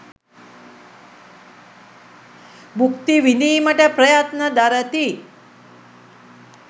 භුක්ති විඳීමට ප්‍රයත්න දරති.